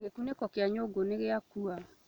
Gĩkunĩko kĩa nyũngũnĩgĩakua